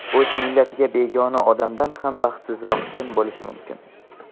"…o‘z millatiga begona odamdan ham baxtsizroq kim bo‘lishi mumkin".